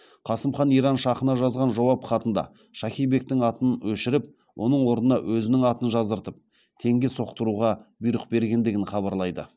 қасым хан иран шахына жазған жауап хатында шахи бектің атын өшіріп оның орнына өзінің атын жаздыртып теңге соқтыруға бұйрық бергендігін хабарлайды